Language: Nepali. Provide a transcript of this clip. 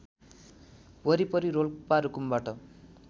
वरिपरि रोल्पा रुकुमबाट